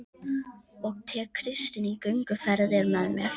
Og tek Kristínu í gönguferðir með mér